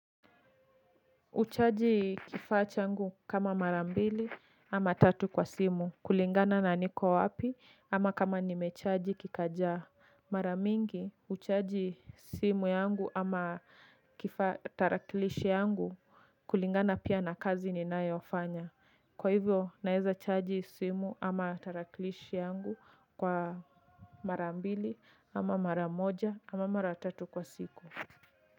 Uchaji kifa changu kama marambili ama tatu kwa simu kulingana na niko wapi ama kama nimechaji kikaja maramingi uchaji simu yangu ama tarakilishi yangu kulingana pia na kazi ninaeofanya. Kwa hivyo naeza chaji simu ama tarakilishi yangu kwa marambili ama maramoja ama maratatu kwa siku.